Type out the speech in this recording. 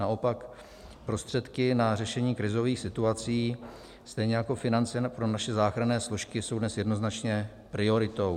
Naopak prostředky na řešení krizových situací, stejně jako finance pro naše záchranné složky, jsou dnes jednoznačně prioritou.